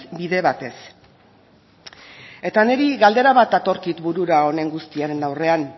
bide batez eta niri galdera bat datorkit burura honen guztiaren aurrean